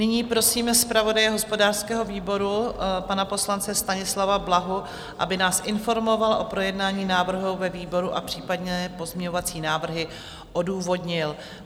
Nyní prosím zpravodaje hospodářského výboru, pana poslance Stanislava Blahu, aby nás informoval o projednání návrhu ve výboru a případné pozměňovací návrhy odůvodnil.